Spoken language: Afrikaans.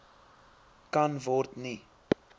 kan word nie